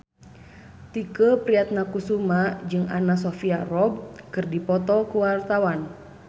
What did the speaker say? Tike Priatnakusuma jeung Anna Sophia Robb keur dipoto ku wartawan